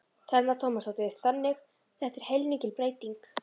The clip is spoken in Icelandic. Telma Tómasdóttir: Þannig þetta er heilmikil breyting?